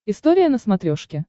история на смотрешке